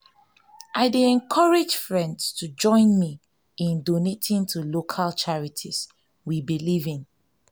i dey encourage friends to join me in donating to local charities we believe in.